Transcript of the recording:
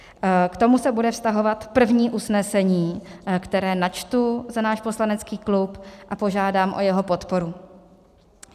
K tomu se bude vztahovat první usnesení, které načtu za náš poslanecký klub, a požádám o jeho podporu.